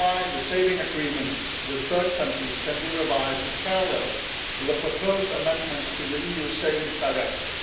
The savings agreements with third countries can then be revised in parallel with the proposed amendments to the EU Savings Directive.